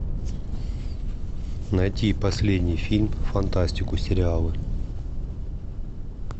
найти последний фильм фантастику сериалы